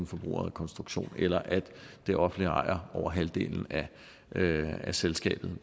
forbrugerejet konstruktion eller at det offentlige ejer over halvdelen af af selskabet